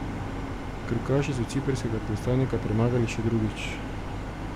Krkaši so ciprskega predstavnika premagali še drugič.